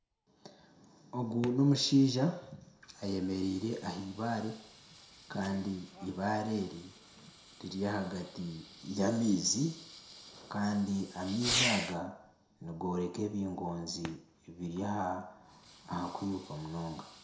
Ogu n'omushaija ayemereire ah'eibaare kandi eibaare eri riri ahagati y'amaizi kandi amaizi aga nigoreka ebingonzi ebiri aha kwiruka munonga.